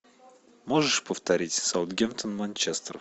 можешь повторить саутгемптон манчестер